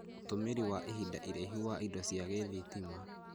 Ũtũmĩri wa ihinda iraihu wa indo cia gĩthitima,